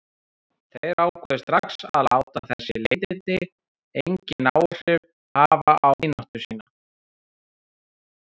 Þeir ákváðu strax að láta þessi leiðindi engin áhrif hafa á vináttu sína.